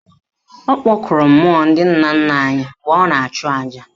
Ọ kpọkuru mmụọ ndị nna nna anyị mgbe ọ na-achụ aja